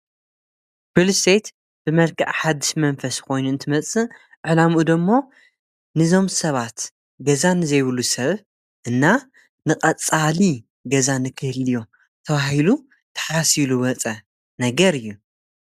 ሪልስተይት ብመልከዕ ሓድሽ መንፈስ ኾይኑ እንትመጽእ ዕላምኡ ዶ እሞ ንዞም ሰባት ገዛ ንዘይብሉ ሰብ እና ንቐጻሊ ገዛ ንክህልዮም ተብሂሉ ተሓሲቡ ዝወፀ ነገር እዩ።